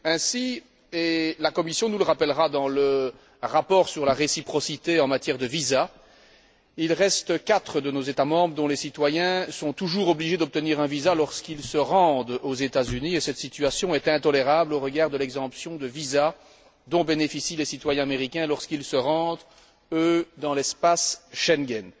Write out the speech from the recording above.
Ainsi et la Commission nous le rappellera dans le rapport sur la réciprocité en matière de visas il reste quatre de nos États membres dont les citoyens sont toujours obligés d'obtenir un visa lorsqu'ils se rendent aux États Unis, et cette situation est intolérable au regard de l'exemption de visa dont bénéficient les citoyens américains lorsqu'ils se rendent, eux, dans l'espace Schengen.